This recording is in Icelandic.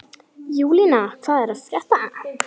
Júlína, hvað er að frétta?